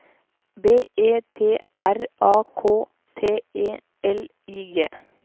B E T R A K T E L I G